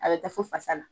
A bɛ taa fo fasa la